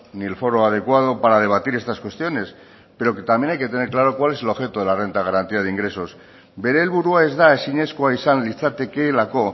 ni el foro adecuado para debatir estas cuestiones pero que también hay que tener claro cuál es el objeto de la renta de garantía de ingresos bere helburua ez da ezinezkoa izan litzatekeelako